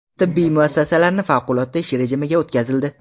Tibbiyot muassasalari favqulodda ish rejimiga o‘tkazildi.